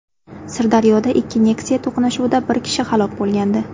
Sirdaryoda ikki Nexia to‘qnashuvida bir kishi halok bo‘lgandi .